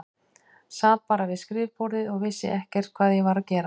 Sat bara við skrifborðið og vissi ekkert hvað ég var að gera.